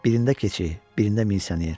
Birində keçi, birində misleyər.